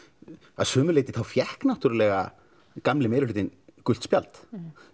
að sumu leiti þá fékk náttúrulega gamli meiri hlutinn gult spjald